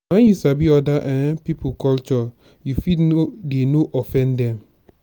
nah when you sabi other um pipo culture you fit dey no offend dem.